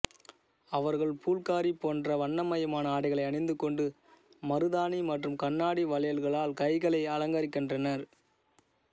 அவர்கள் பூல்காரி போன்ற வண்ணமயமான ஆடைகளை அணிந்துகொண்டு மருதானி மற்றும் கண்ணாடி வளையல்களால் கைகளை அலங்கரிக்கின்றனர்